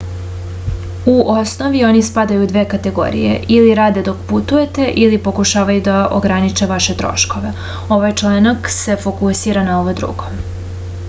u osnovi oni spadaju u dve kategorije ili rade dok putujete ili pokušavaju da ograniče vaše troškove ovaj članak se fokusira na ovo drugo